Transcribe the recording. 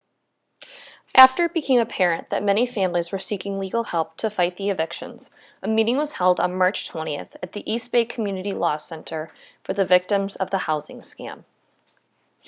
after it became apparent that many families were seeking legal help to fight the evictions a meeting was held on march 20 at the east bay community law center for the victims of the housing scam